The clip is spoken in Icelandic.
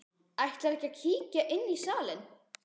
Ætlarðu ekki að kíkja inn í salinn?